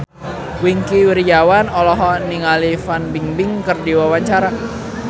Wingky Wiryawan olohok ningali Fan Bingbing keur diwawancara